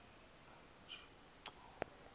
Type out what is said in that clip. nonojico